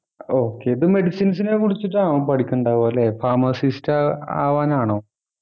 okay ഇത് Medicines നെക്കുറിച്ചിട്ടാണോ അവൻ പഠിക്കുന്നുണ്ടാവുആ അല്ലെ Pharmacist ആഹ് ആവനാണോ